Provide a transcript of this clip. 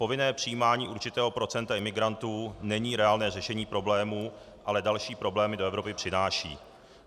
Povinné přijímání určitého procenta imigrantů není reálné řešení problémů, ale další problémy do Evropy přináší.